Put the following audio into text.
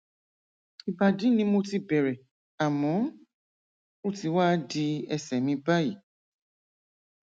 ìbàdí ni mo ti bẹrẹ àmọ ó ti wá di ẹsẹ mi báyìí